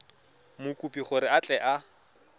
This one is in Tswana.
mokopi gore a tle a